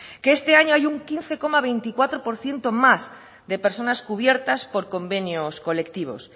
que este año hay un quince coma veinticuatro por ciento más de personas cubiertas por convenios colectivos